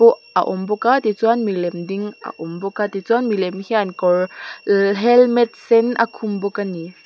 a awm bawk a ti chuan milem ding a awm bawk a ti chuan milem hian kawr helmet sen a khum bawk a ni.